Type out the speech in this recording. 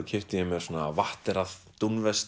keypti ég mér svona